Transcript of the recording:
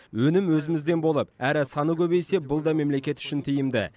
өнім өзімізден болып әрі саны көбейсе бұл да мемлекет үшін тиімді